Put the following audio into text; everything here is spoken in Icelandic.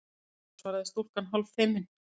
Já- svaraði stúlkan hálffeimin.